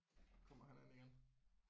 Kommer han ind igen